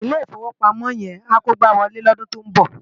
Ilé Ifówópámò yèn á kógbáwòlé lòdún tó n bò